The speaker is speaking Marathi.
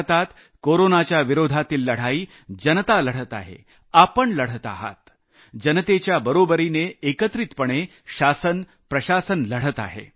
भारतात कोरोनाच्या विरोधातील लढाई जनता लढत आहे आपण लढत आहात जनते बरोबरीने एकत्रितपणे शासन प्रशासन लढत आहे